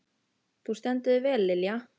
Þú stendur þig vel, Lilja!